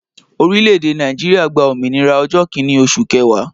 Orílẹ̀ èdè Nàìjíríà gba òmìnira ọjọ́ Kínní oṣù kẹwàá